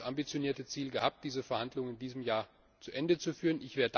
Wir haben ja das ambitionierte Ziel gehabt, diese Verhandlungen in diesem Jahr zu Ende zu führen.